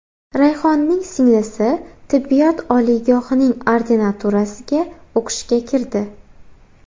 Rayhonning singlisi tibbiyot oliygohining ordinaturasiga o‘qishga kirdi.